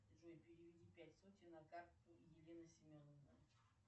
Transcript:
джой переведи пять сотен на карту елена семеновна